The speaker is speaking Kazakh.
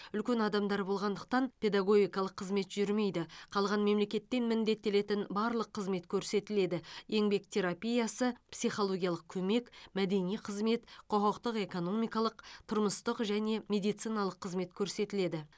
үлкен адамдар болғандықтан педагогикалық қызмет жүрмейді қалған мемлекеттен міндеттелетін барлық қызмет көрсетіледі еңбек терапиясы психологиялық көмек мәдени қызмет құқықтық экономикалық тұрмыстық және медициналық қызмет көрсетіледі